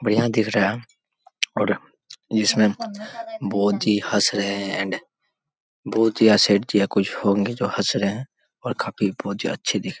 बढ़िया दिख रहा है और जिसमें बुद्ध जी हंस रहे हैं एण्ड बुद्ध या सेठ जी या जो कुछ हंस रहे है और काफी मुझे अच्छे दिख --